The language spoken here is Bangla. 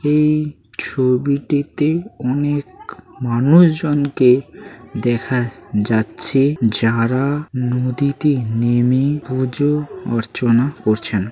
এই ছবিটিতে অনেক মানুষজনকে দেখা-আ যাচ্ছে যারা নদীতে নেমে পূজো অর্চনা করছেনা।